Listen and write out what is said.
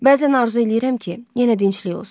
Bəzən arzu eləyirəm ki, yenə dinclik olsun.